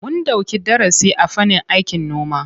Mun ɗauki darasi a fannin aikin noma.